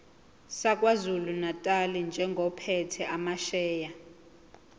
sakwazulunatali njengophethe amasheya